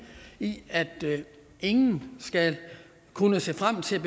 i at ingen skal kunne se frem til